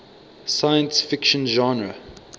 science fiction genre